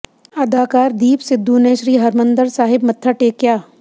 ਅਦਾਕਾਰ ਦੀਪ ਸਿੱਧੂ ਨੇ ਸ੍ਰੀ ਹਰਿਮੰਦਰ ਸਾਹਿਬ ਮੱਥਾ ਟੇਕਿਆ